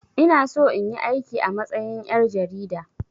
Ina so in yi aiki a matsayin ƴar jarida